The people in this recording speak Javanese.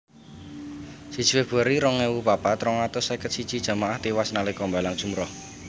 Siji Februari rong ewu papat rong atus seket siji jamaah tiwas nalika mbalang jumrah